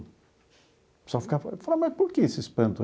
O pessoal ficava... Eu falava, mas por que esse espanto?